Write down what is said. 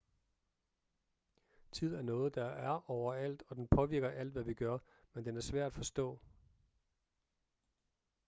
tid er noget der er overalt og den påvirker alt hvad vi gør men den er svær at forstå